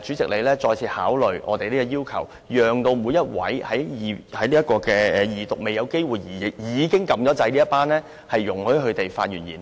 主席再次考慮我們的要求，容許每一位在二讀辯論階段時已按下"要求發言"按鈕，但仍未有機會發言的議員發言。